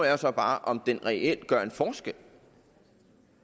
er så bare om den reelt gør en forskel